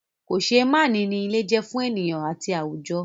Kòseémánìí ni ilé je fún ènìyàn àti àwùjọ.